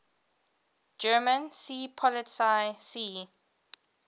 german seepolizei sea